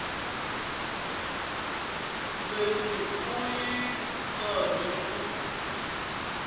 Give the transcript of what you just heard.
leyi u ri karhi u